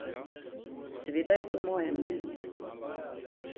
Seveda je to moje mnenje.